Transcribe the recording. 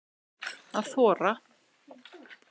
Að þora